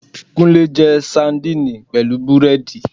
. Kúnlẹ́ jẹ sandini pẹ̀lú búrẹ́dì